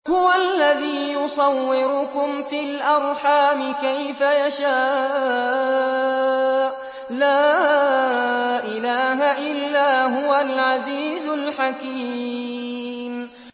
هُوَ الَّذِي يُصَوِّرُكُمْ فِي الْأَرْحَامِ كَيْفَ يَشَاءُ ۚ لَا إِلَٰهَ إِلَّا هُوَ الْعَزِيزُ الْحَكِيمُ